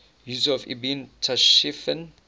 yusuf ibn tashfin